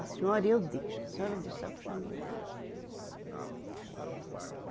A senhora eu deixo, a senhora eu deixo a senhora puxar a minha orelha. Eh